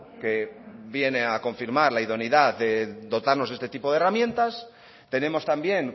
que vienen a confirmar la idoneidad de dotarnos de este tipo de herramientas tenemos también